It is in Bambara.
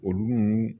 Olu